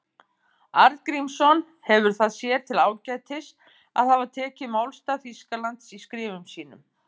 Arngrímsson hefur það sér til ágætis að hafa tekið málstað Þýskalands í skrifum sínum.